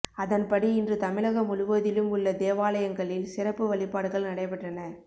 அதன்படி இன்று தமிழகம் முழுவதிலும் உள்ள தேவாலயங்களில் சிறப்பு வழிபாடுகள் நடைபெற்றன